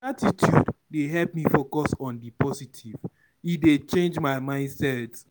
Gratitude dey help me focus on di positive; e dey change my mindset.